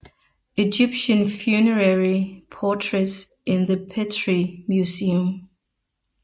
Egyptian Funerary Portraits in the Petrie Museum